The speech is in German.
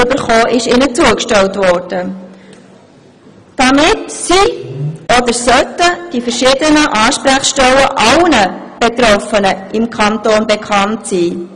Damit sollten die verschiedenen Ansprechstellen allen Betroffenen im Kanton bekannt sein.